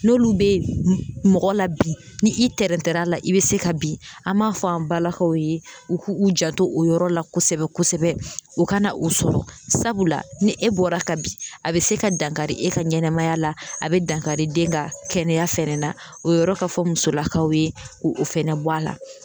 N'olu bɛ mɔgɔ la bi ni i tɛrɛntɛr'a la i bɛ se ka bin an b'a fɔ an balakaw ye u ku u janto o yɔrɔ la kosɛbɛ kosɛbɛ u kana u sɔrɔ sabula ni e bɔra ka bin a bɛ se ka dankari e ka ɲɛnamaya la a bɛ dankari den ka kɛnɛya fɛnɛ na o yɔrɔ ka fɔ musolakaw ye ko o fɛnɛ bɔ a la.